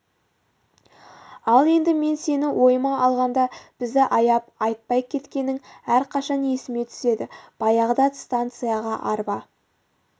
ал енді мен сені ойыма алғанда бізді аяп айтпай кеткенің әрқашан есіме түседі баяғыда станцияға арба